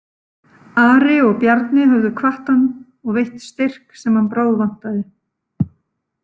Ari og Bjarni höfðu hvatt hann og veitt styrk sem hann bráðvantaði.